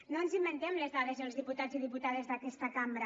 no ens inventem les dades els diputats i diputades d’aquesta cambra